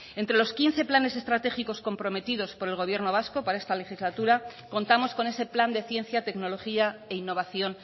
entre los quince planes estratégicos comprometidos por el gobierno vasco para esta legislatura contamos con ese plan de ciencia tecnología e innovación